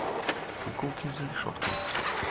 куколки за решеткой